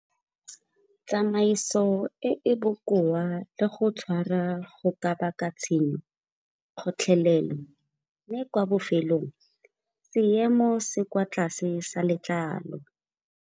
Tsamaiso e e bokoa le go tshwara go ka baka tshenyo, kgotlelelo mme kwa bofelong seemo se kwa tlase sa letlalo.